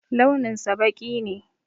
Launinsa ɓaki ne.